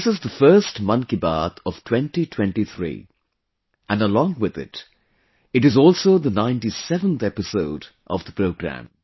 This is the first 'Mann Ki Baat' of 2023 and along with it, it is also the ninetyseventh episode of the programme